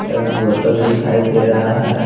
एक बोतल दिखाई दे रहा है।